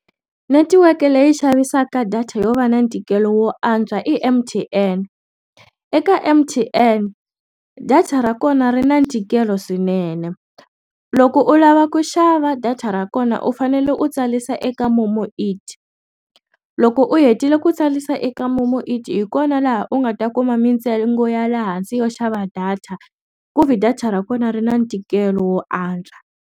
Netiweke leyi yi xavisaka data yo va na ntikelo wo antswa i M_T_N eka M_T_N data ra kona ri na ntikelo swinene loko u lava ku xava data ra kona na u fanele u tsarisa eka momo it loko u hetile ku tsarisa eka momo it hi kona laha u nga ta kuma mintsengo ya laha hansi yo xava data ku ve data ra kona ri na ntikelo wo antswa.